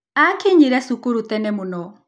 Aakinyire cukuru tene mũno.